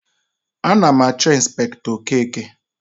Ana m achọ Ịnspektọ Okeke.